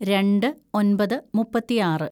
രണ്ട് ഒന്‍പത് മുപ്പത്തിയാറ്‌